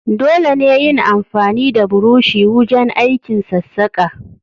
Dole ne yin amfani da burushi wujen aikin sassaƙa.